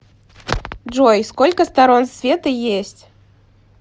джой сколько сторон света есть